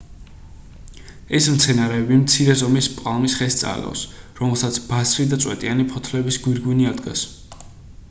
ეს მცენარეები მცირე ზომის პალმის ხეს წააგავს რომელსაც ბასრი და წვეტიანი ფოთლების გვირგვინი ადგას